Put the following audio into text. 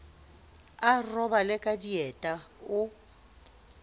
a robale ka dieta o